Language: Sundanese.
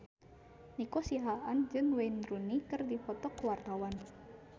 Nico Siahaan jeung Wayne Rooney keur dipoto ku wartawan